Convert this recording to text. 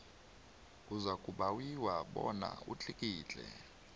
uzakubawiwa bona utlikitle